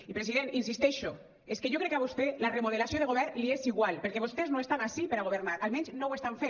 i president hi insisteixo és que jo crec que a vostè la remodelació de govern li és igual perquè vostès no estan ací per a governar almenys no ho estan fent